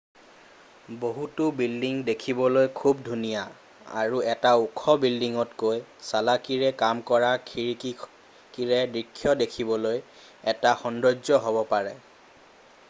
বহুতো বিল্ডিং দেখিবলৈ খুব ধুনীয়া আৰু এটা ওখ বিল্ডিংতকৈ চালাকিৰে কাম কৰা খিৰিকীৰে দৃশ্য দেখিবলৈ এটা সৌন্দৰ্য হ'ব পাৰে